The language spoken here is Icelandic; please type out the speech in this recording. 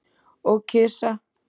Og kisa.